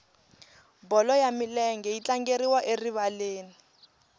bolo ya milenge yi tlangeriwa erivaleni